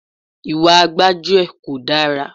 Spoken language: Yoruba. Ìwà gbájúẹ̀ kò dára.